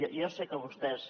jo sé que vostès